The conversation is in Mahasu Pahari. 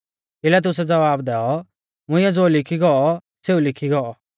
पिलातुसै ज़वाब दैऔ मुंइऐ ज़ो लिखी गौ सेऊ लिखी गौ